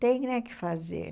Tem, né, que fazer.